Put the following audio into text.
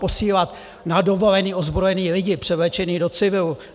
Posílat na dovolené ozbrojené lidi převlečené do civilu!